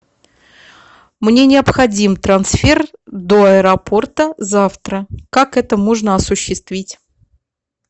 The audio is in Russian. мне необходим трансфер до аэропорта завтра как это можно осуществить